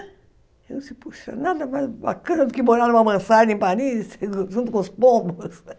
Puxa, nada mais bacana do que morar numa mansarda em Paris, junto com os pombos.